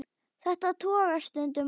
Þetta togast stundum á.